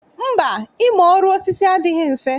Mba, ịmụ ọrụ osisi adịghị mfe